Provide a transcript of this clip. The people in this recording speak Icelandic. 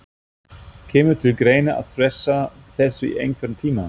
Kemur til greina að fresta þessu í einhvern tíma?